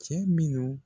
Cɛ minnu